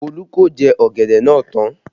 Olu ko jẹ ọ̀gẹ̀dẹ̀ náà tán